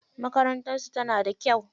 Makarantar su tana da kyau.